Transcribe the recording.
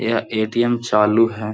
यह ए.टी.एम. चालू है।